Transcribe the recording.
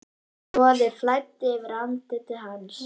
Roði flæddi yfir andlit hans.